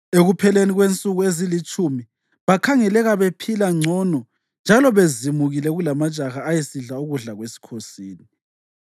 Ekupheleni kwensuku ezilitshumi bakhangeleka bephila ngcono njalo bezimukile kulamajaha ayesidla ukudla kwesikhosini.